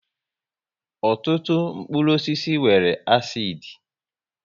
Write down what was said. Ọtụtụ mkpụrụ osisi nwere àsid